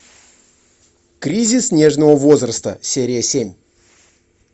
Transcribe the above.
кризис нежного возраста серия семь